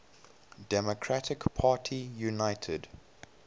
democratic party united